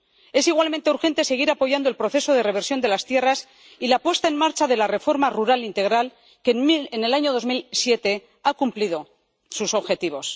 Es igualmente urgente seguir apoyando el proceso de reversión de las tierras y la puesta en marcha de la reforma rural integral, que en 2007 ha cumplido sus objetivos.